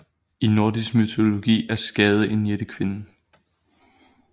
I nordisk mytologi er Skade en jættekvinde